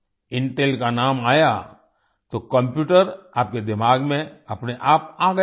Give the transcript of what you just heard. Intel का नाम आया तो कम्प्यूटर आपके दिमाग में अपने आप आ गया होगा